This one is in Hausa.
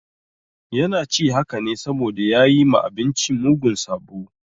Yana ci haka ne saboda ya yi ma abinci mugun sabo.